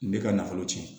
N bɛ ka nafolo tiɲɛ